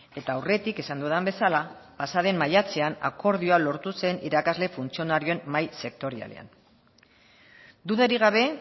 eta aurretik esan dudan bezala pasaden maiatzean akordioa lortu zen irakasle funtzionarioen mahai sektorialean dudarik gabe